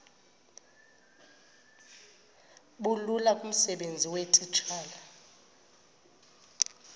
bulula kumsebenzi weetitshala